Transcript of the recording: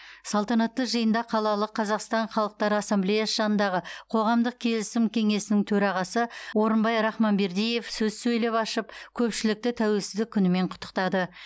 салтанатты жиынды қалалық қазақстан халықтар ассамблеясы жанындағы қоғамдық келісім кеңесінің төрағасы орынбай рахманбердиев сөз сөйлеп ашып көпшілікті тәуелсіздік күнімен құттықтады